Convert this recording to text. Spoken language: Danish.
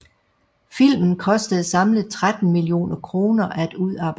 Filmen kostede samlet 13 millioner kroner at udarbejde